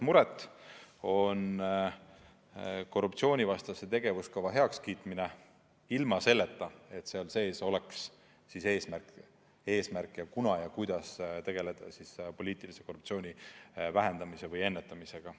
See on korruptsioonivastase tegevuskava heakskiitmine ilma selleta, et seal sees oleks eesmärk, kuidas tegeleda poliitilise korruptsiooni vähendamise või ennetamisega.